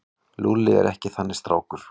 Lúlli er ekki þannig strákur.